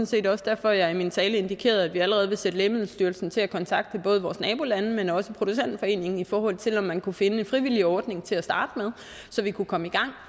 set også derfor at jeg i min tale indikerede at vi allerede vil sætte lægemiddelstyrelsen til at kontakte både vores nabolande men også producentforeningen det er for at se om man kunne finde en frivillig ordning til at starte med så vi kunne komme i gang